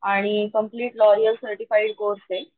आणि complaint L'Oreal certified course.